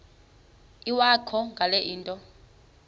iwakho ngale nto